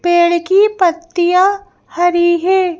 पेड़ की पत्तियाँ हरी हैं।